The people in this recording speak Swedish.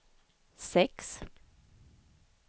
sex